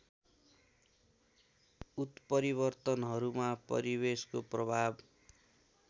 उत्परिवर्तनहरूमा परिवेशको प्रभाव